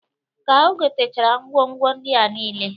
Ka o gotechara ngwo ngwo ndia nile.